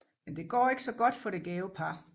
Men det går ikke så godt for det gæve par